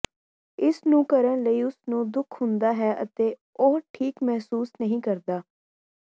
ਇਸ ਨੂੰ ਕਰਨ ਲਈ ਉਸ ਨੂੰ ਦੁੱਖ ਹੁੰਦਾ ਹੈ ਅਤੇ ਉਹ ਠੀਕ ਮਹਿਸੂਸ ਨਹੀਂ ਕਰਦਾ